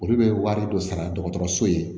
Olu bɛ wari dɔ sara dɔgɔtɔrɔso ye